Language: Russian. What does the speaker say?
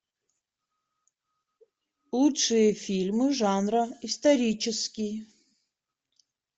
лучшие фильмы жанра исторический